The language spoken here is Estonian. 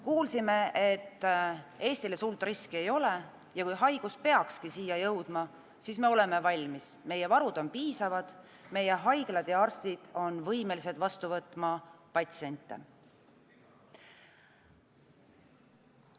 Kuulsime, et Eestile suurt riski ei ole ja kui haigus peakski siia jõudma, siis me oleme valmis – meie varud on piisavad, meie haiglad ja arstid on võimelised vastu võtma patsiente.